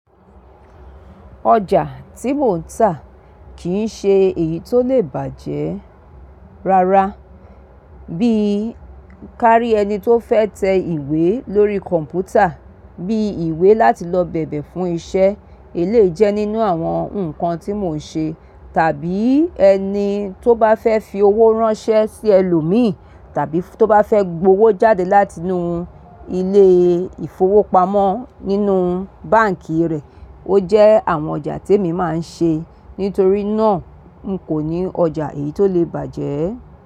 Ọjà tí mò ń tà kì í ṣe èyí tó lè bàjẹ́ rárá bíi kárí ẹni tó fẹ́ tẹ ìwé lórí kọ̀m̀pútà, bií ìwé láti lọ bẹ̀bẹ̀ fún iṣẹ́, èléyii jẹ́ nínú àwọn nǹkan tí mò ń ṣe. Tàbí ẹni tó bá fẹ́ fi owó ránṣẹ́ sí ẹlòmíì tàbí tó bá fẹ́ gbowó jáde látinú ilé ìfowópamọ́ nínú báǹkì rẹ̀. Ó jẹ́ àwọn ọjà tí èmi máa ń ṣe. Nítorí náà, n kò ní ọjà èyí tó lè bàjẹ́.